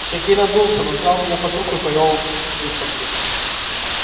сергей надулся но взял меня под руку и повёл с выставки